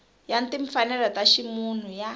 ya timfanelo ta ximunhu ya